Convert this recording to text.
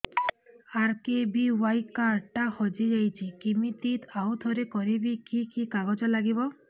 RKBY card ଟା ହଜିଯାଇଛି କିମିତି ଆଉଥରେ କରିବି କି କି କାଗଜ ଲାଗିବ